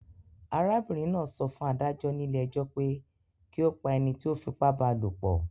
Arábìrin náà so fún adájó nílé ejó pe ki o pa enití o fipá ba lòpò